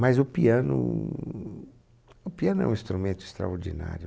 Mas o piano, o piano é um instrumento extraordinário.